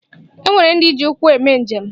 E nwere ndị ji ụkwụ eme njem.